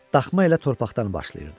Daxma elə torpaqdan başlayırdı.